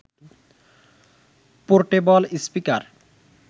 portable speaker